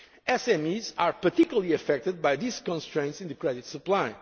union. SMEs are particularly affected by these constraints in the credit